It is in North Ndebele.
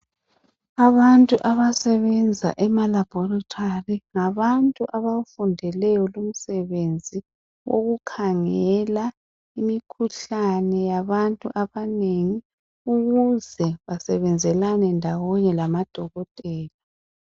Abantu abasebenza emalabhorithari ngabantu abawufundeleyo lumsebenzi ukukhangela imikhuhlane yabantu abanengi ukuze basebenzelane ndawonye lamadokotela.